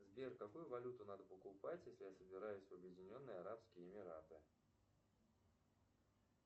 сбер какую валюту надо покупать если я собираюсь в объединенные арабские эмираты